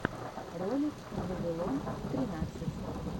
ролик вавилон тринадцать